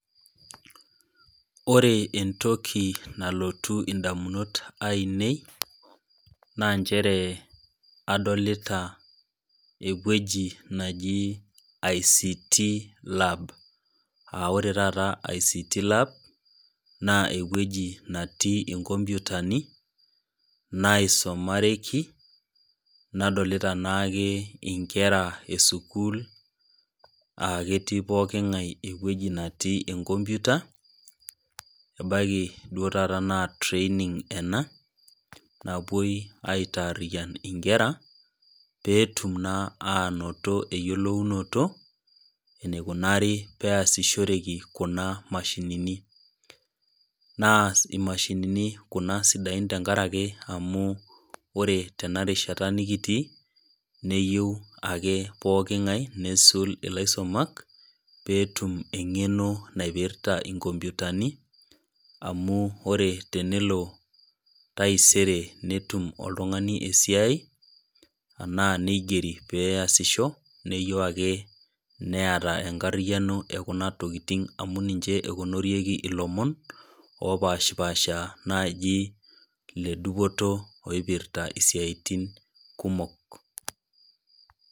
Ore entoki nalotu indamunot ainei, naa nchere, adolita ewueji naji ICT lab, aa ore taata ICT lab naa ewueji natii inkompyutani, naisumareki, nadolita naake inkera e sukuul, aa ketii pooking'aii ewueji natii enkopyuta, ebaiki duo taata naa training ena napuoi aitariyan inkera peetum naa ainoto eyiolounoto eneikunaari pee easishoreki kuna mashinini, naa imashinini kuna sidain tenkaraki amu ore tenarishata nekitii neyiou ake pooking'ae neisul ilaisumak, peeetum eng'eno naipirta inkopyutani, amu ore tenelo taisere netum oltung'ani esiai ana peigeri pee eyasisho, neyou ake neata enkaryano e kuna tokitin amu ninche eonorieki ilomon opaashipaasha naaji le dupoto naaji oipirta isiaitin kumok.